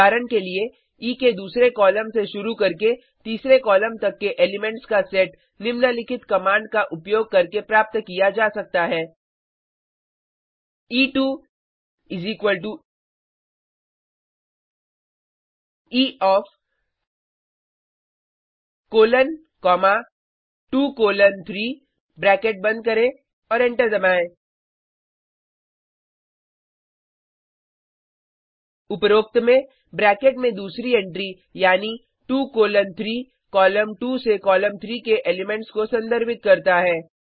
उदाहरण के लिए ई के दूसरे कॉलम से शुरू करके तीसरे कॉलम तक के एलिमेंट्स का सेट निम्नलिखित कमांड का उपयोग करके प्राप्त किया जा सकता है ई2 E of colon comma 2 colon 3 bracket बंद करें और एंटर दबाएं उपरोक्त में ब्रैकेट में दूसरी एंट्री यानी 2 कोलन 3 कॉलम 2 से कॉलम 3 के एलीमेंट्स को संदर्भित करता है